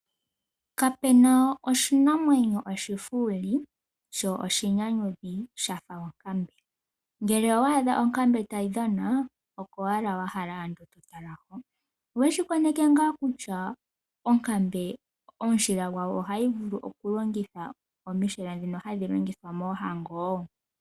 Kapena oshinamwenyo oshifuuli sho oshi nyanyukwi shafa onkambe. Ngele owa adha onkambe tayi dhana oyo owala wa hala oku tala. Oweshi koneke ngaa kutya onkambe omushila gwawo ohayi vulu oku longithwa momishila ndhino hadhi longithwa moohango?